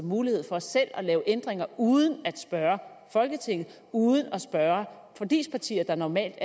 mulighed for selv at lave ændringer uden at spørge folketinget og uden at spørge forligspartierne der normalt